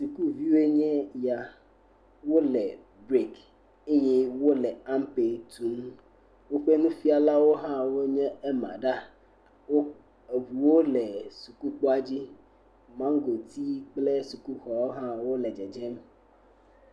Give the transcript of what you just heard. Sukuviwo nye esia, wole break eye wole ampe tum, woƒe nufialawo hã nye ema ɖaa, eŋuwo le sukukpoadzi, maŋgotiwo kple sukuxɔ hã le dzedzem.